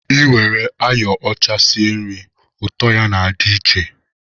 E were ayo ọcha sie nri, ụtọ ya na-adị iche